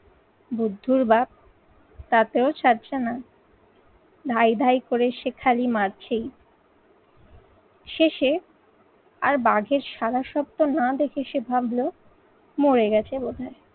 বুদ্ধির বাপ তাতেও ছাড়ছে না, ধাই ধাই করে সে খালি মারছেই। শেষে আর বাঘের সাদা শব্দ না দেখে সে ভাবলো মরে গেছে বোধ হয়।